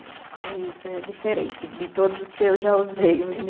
É, é isso, é diferente de todos os que eu já usei